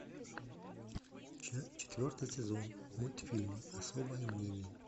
четвертый сезон мультфильма особое мнение